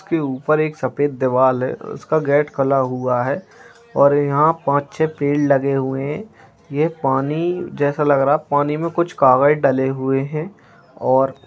उसके ऊपर सफेद देवाल हैं | उसका गेट खला हुआ हैं और यहाँ पांच छह पेड़ लगे हुए हैं | ये पानी जैसा लग रहा है पानी में कुछ कागज डले हुए हैं । और--